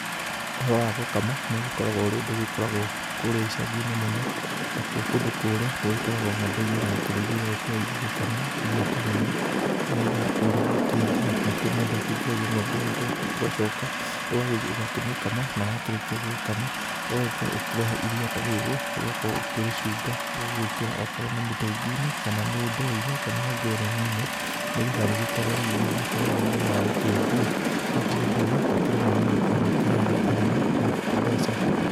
Ũhoro wa gũkama, nĩũgĩkoragwo ũrĩ ũndũ ũgĩkoragwo kũrĩa icaginĩ mũno. Nakuo kũndũ kũrĩa gũgĩkoragwo ng'ombe iria irakĩrĩithio, igagĩkorwo igĩgĩkamwo iria ta rĩrĩ. Nĩgetha ĩgagĩkorwo rĩgĩkĩendio. Nakuo mũndũ akĩingĩragia ng'ombe ĩo njoki ũgacoka ũgagĩthiĩ ũgakĩmĩkama. Na wakĩrĩkia gũgĩkama, ũgagĩkorwo ũkĩrehe iria ta rĩrĩ ũgakorwo ũkĩrĩcunga, ũgagĩkĩra okorwo nĩ mĩtũnginĩ, kana nĩ ndo-inĩ, kana ngereninĩ. Nĩgetha rĩgĩkorwo rĩgĩgĩthiĩ kũrĩa rĩgĩthiaga gũkĩendio. Naguo ũndũ ũyũ, ũkĩrĩ mwega nĩgũkorwo nĩũkĩheaga arĩmi ma, mbeca.